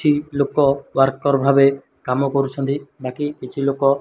ଲୁକ ୱାରକର ଭାବେ କାମ କରୁଛନ୍ତି। ବାକି କିଛି ଲୁକ ।